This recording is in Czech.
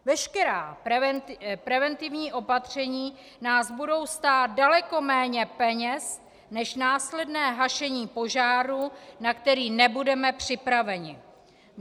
Veškerá preventivní opatření nás budou stát daleko méně peněz než následné hašení požáru, na který nebudeme připraveni.